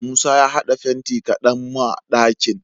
Musa ya had'a fenti kadan ma d'akin